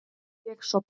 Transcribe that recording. Ég sofna.